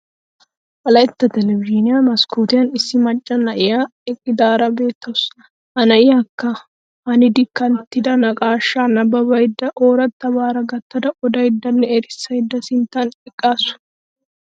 Wolaytta Telebizhiiniya maskkootiyan issi macca na'iya eqqidaara beettawusu. Ha na'iyakka hanidi kanttida naqaashaa nabbabada oorattabaara gattada odayddanne erissaydsa sinttan eqqaasu.